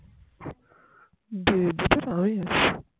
সবাই আছে